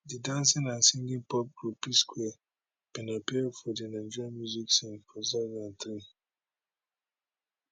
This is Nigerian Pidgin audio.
di dancing and singing pop group psquare bin appear for di nigeria music scene for 2003